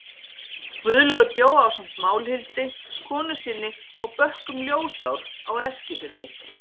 Guðlaugur bjó ásamt Málhildi, konu sinni, á bökkum Ljósár á Eskifirði.